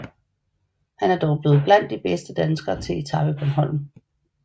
Han er dog blevet blandt de bedste danskere til Etape Bornholm